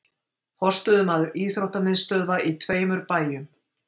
Forstöðumaður íþróttamiðstöðva í tveimur bæjum